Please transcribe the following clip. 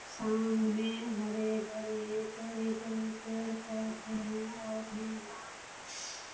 सामने हरे-भरे बड़े-बड़े पेड़-पौधे है और मैदान है।